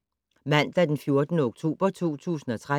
Mandag d. 14. oktober 2013